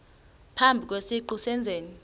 phambi kwesiqu sezenzi